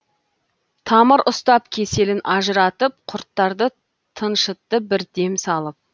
тамыр ұстап кеселін ажыратып құрттарды тыншытты бір дем салып